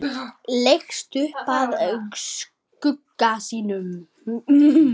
Leggst upp að skugga sínum.